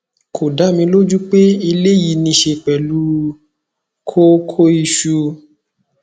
kò dá mi lójú pé eléyìí ní í ṣe pẹlú kókóìsù